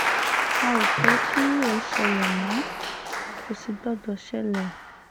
a ò fẹ́ kírú ẹ̀ ṣẹlẹ̀ mọ́ kò sì gbọ́dọ̀ ṣẹlẹ̀